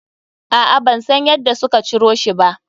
A'a, ban san yadda suka ciro shi ba.